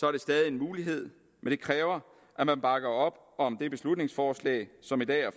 er det stadig en mulighed men det kræver at man bakker op om det beslutningsforslag som i dag er